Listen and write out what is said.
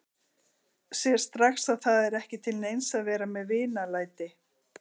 Sér strax að það er ekki til neins að vera með vinalæti.